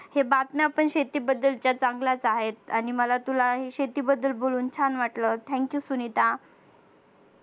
हे बातम्या पण शेती बद्दलच्या चांगल्याच आहेत आणि मला तुला हे शेतीबद्दल बोलून छान वाटलं thank you सुनीता